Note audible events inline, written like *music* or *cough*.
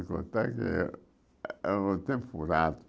De contar que. *unintelligible*